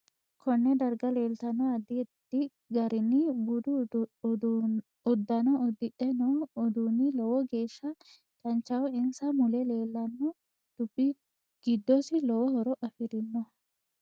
Konne darga leeltanno addi addi garinni budu uddano udidhe noo uduuni lowo geesha danchaho insa mule leelanno dubbi giddosi lowo horo afirinoho